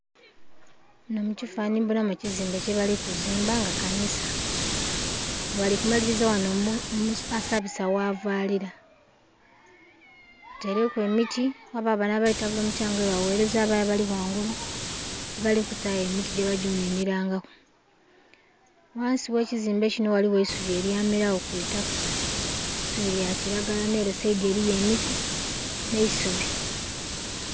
Muno ekifanhanye mbona mu ekizimbe ekiri kuzimbwa nga kanisa bali kumaliriza wano osabisa wavalira bataileku emiti wabayo bano abali kutabula omukyanga nga webaweleza wabayo abali ghangulu abali kutaayo emiti gyebaja okuninira nga ku. Ghansi gh'ekizimbe ghaliwo eisubi elyamelawo ku itaka eisubi lya kilagara nere saidhi eliyo emiti ne isubi